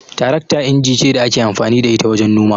Tarakta inji ce da ake amfani da ita wajen noma.